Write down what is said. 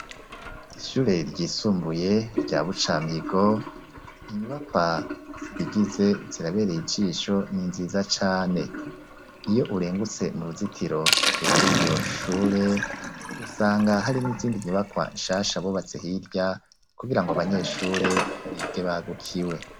Ishure ryisumbuye rya bucamigo, inyubakwa zirigize zirabereye ijisho ni nziza cane. Iyo urengutse mu ruzitiro rw'iryo shure usanga hari n'izindi nyubakwa nshasha bubatse hirya kugira ngo abanyeshure bige bagukiwe.